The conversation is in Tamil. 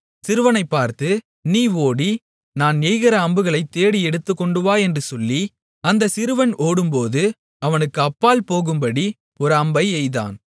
சிறுவனை பார்த்து நீ ஓடி நான் எய்கிற அம்புகளைத் தேடி எடுத்துக்கொண்டுவா என்று சொல்லி அந்தப் சிறுவன் ஓடும்போது அவனுக்கு அப்பால் போகும்படி ஒரு அம்பை எய்தான்